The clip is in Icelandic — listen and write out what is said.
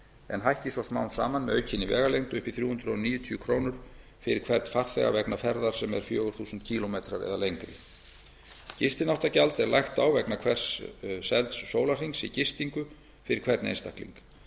en hækki svo smám saman með aukinni vegalengd upp í þrjú hundruð níutíu krónur fyrir hvern farþega vegna ferða sem eru fjögur þúsund kílómetra eða lengri gistináttagjald er lagt á vegna hvers selds sólarhrings í gistingu fyrir hvern einstakling